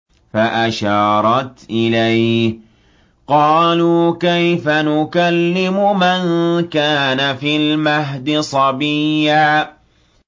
فَأَشَارَتْ إِلَيْهِ ۖ قَالُوا كَيْفَ نُكَلِّمُ مَن كَانَ فِي الْمَهْدِ صَبِيًّا